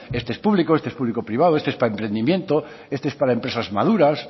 este es público este es público privado este es para emprendimiento este es para empresas maduras